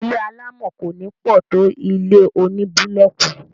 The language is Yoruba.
ilé alámọ̀ kò nípọ tó ilé oní búlọọkù